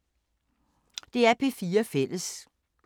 DR P4 Fælles